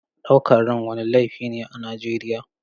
Ɗaukar ran wani laifi ne a Najeriya.